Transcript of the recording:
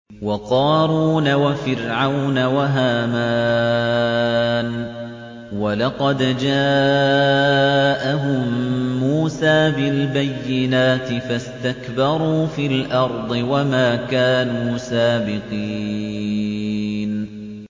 وَقَارُونَ وَفِرْعَوْنَ وَهَامَانَ ۖ وَلَقَدْ جَاءَهُم مُّوسَىٰ بِالْبَيِّنَاتِ فَاسْتَكْبَرُوا فِي الْأَرْضِ وَمَا كَانُوا سَابِقِينَ